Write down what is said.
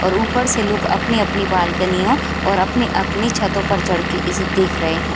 और ऊपर से लोग अपनी-अपनी बालकनियो और अपनी-अपनी छतो पर चढ़ के इसे देख रहें हैं।